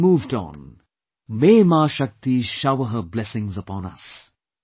We have moved on; may mashakti shower her blessings upon us